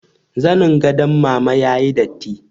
Zanin gadon mama ya yi datti